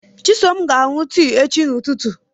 Chisom ga-aṅụ tii echi ụtụtụ.